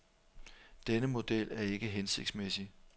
Denne model er ikke hensigtsmæssig.